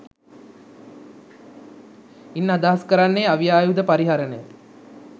ඉන් අදහස් කරන්නේ අවි ආයුධ පරිහරණය